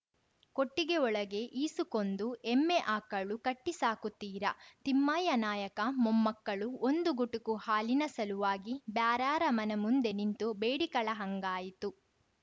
ಕೊಟ್ಟಿಗೆಒಳಗೆ ಈಸಕೊಂದು ಎಮ್ಮೆ ಆಕಳು ಕಟ್ಟಿಸಾಕುತಿರಾ ತಿಮ್ಮಯ್ಯನಾಯಕ ಮೊಮ್ಮಕ್ಕಳು ಒಂದು ಗುಟುಕು ಹಾಲಿನ ಸಲುವಾಗಿ ಬ್ಯಾರೇರ ಮನೆ ಮುಂದೆ ನಿಂತು ಬೇಡಿಕಳ ಹಂಗಾಯಿತು